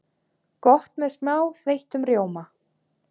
Gott með smá þeyttum rjóma.